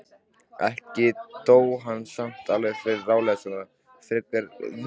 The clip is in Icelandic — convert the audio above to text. Ekki dó hann samt alveg ráðalaus frekar en fyrri daginn.